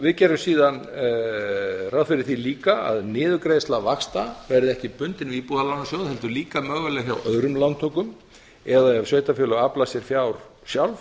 við gerum síðan ráð fyrir því líka að niðurgreiðsla vaxta verði ekki bundin við íbúðalánasjóð heldur líka mögulega hjá öðrum lántökum eða ef sveitarfélög afla sér fjár sjálf